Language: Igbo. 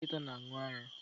Ụmụ nkịta n'aṅu ara